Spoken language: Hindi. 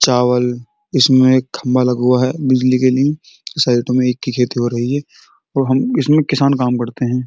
चावल। इसमें एक खम्भा लगा हुआ हैं बिजली के लिए। और इसमें किसान काम करते हैं।